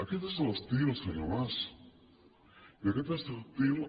aquest és l’estil senyor mas i aquest és l’estil